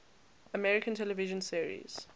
american television series